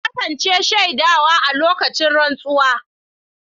Na kasance shaida a lokacin rantsuwa.